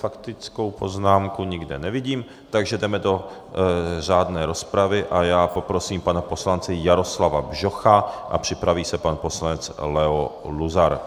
Faktickou poznámku nikde nevidím, takže jdeme do řádné rozpravy a já poprosím pana poslance Jaroslava Bžocha a připraví se pan poslanec Leo Luzar.